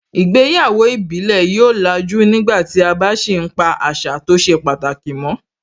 Ìgbéyàwó ìbílẹ̀ yóò làjú nígbàtí a bá sì ń pa àṣà tó ṣe pàtàkì mọ́